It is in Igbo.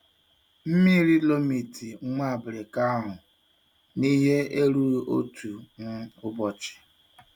Mmiri lomiti nwa abirika àhû n'ihe erughi otu um ubochi.